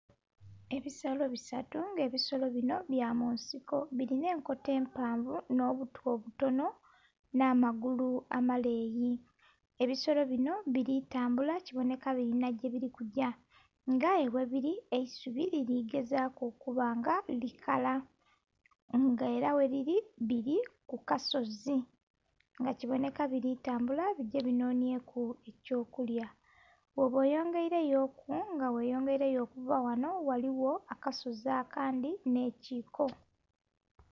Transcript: Ebisolo bisatu ebisolo binho bya munsiko bilinha enkoto empanvu nho butu obutonho nha magulu amaleyi, ebisolo binho bili tambula kibonheka bilinha yebuli kugya nga aye ghebili eisubi lili gezaku okuba nga likala nga era ghebili bili ku kasozi nga kibonheka bili tambula bigye binhonhyeku ekyo kulya. Bwoba oyongeireyoku nga ghe oyongeireyoku okuva ghanho, ghaliyo akasozi akandhi nhe kiiko.